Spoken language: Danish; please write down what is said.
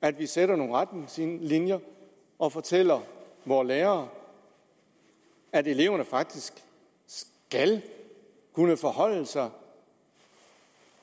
at vi sætter nogle retningslinjer og fortæller vore lærere at eleverne faktisk skal kunne forholde sig